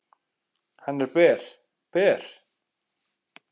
"""Hann er ber, ber."""